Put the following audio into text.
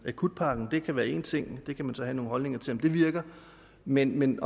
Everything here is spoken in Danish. akutpakken kan være en ting man kan så have nogle holdninger til om den virker men men